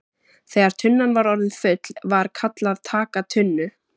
Þegar tunnan var orðin full var kallað TAKA TUNNU!